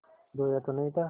रोया तो नहीं था